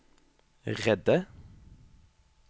redde